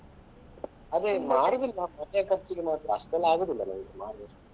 ಅದೇ ಮಾರುದಿಲ್ಲ ಮನೆ ಖರ್ಚಿಗೆ ಮಾತ್ರ ಅಷ್ಟೆಲ್ಲ ಆಗುದಿಲ್ಲ ಮನೇಲಿ ಮಾರುವಷ್ಟು.